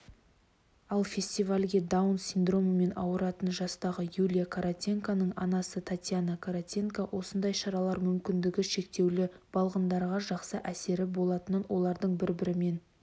ал фестивальге даун синдромымен ауыратын жастағы юлия каратенконың анасы татьяна каратенко осындай шаралар мүмкіндігі шектеулі балғындарға жақсы әсері болатынын олардың бір-бірімен